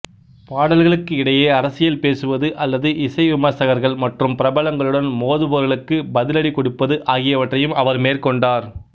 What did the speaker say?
பாடல்களுக்கு இடையே அரசியல் பேசுவது அல்லது இசை விமர்சகர்கள் மற்றும் பிரபலங்களுடன் மோதுபவர்களுக்கு பதிலடி கொடுப்பது ஆகியவற்றையும் அவர் மேற்கொண்டார்